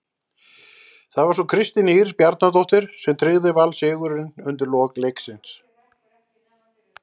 Það var svo Kristín Ýr Bjarnadóttir sem tryggði Val sigurinn undir lok leiks.